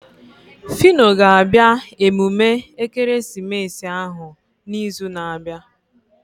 Fino ga-abịa emume ekeresimesi ahụ na izu na abịa